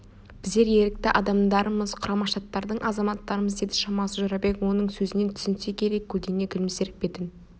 біздер ерікті адамдармыз құрама штаттардың азаматтарымыз деді шамасы жорабек оның сөзіне түсінсе керек көңілдене күлімсіреп бетін